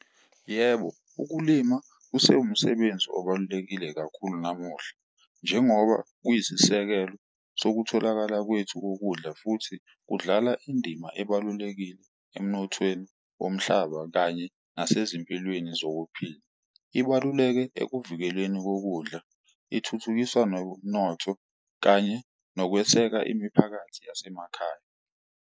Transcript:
Yebo, ukulima kusewumsebenzi obalulekile kakhulu namuhla, njengoba kuyisisekelo sokutholakala kwethu kokudla futhi kudlala indima ebalulekile emnothweni womhlaba kanye nasezimpilweni zokuphila. Ibaluleke ekuvikeleni kokudla ithuthukisa nomnotho kanye nokweseka imiphakathi yasemakhaya.